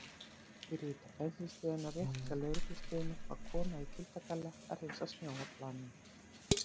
Fyrir utan bensínstöðina rétt hjá lögreglustöðinni var kona í kuldagalla að hreinsa snjó af planinu.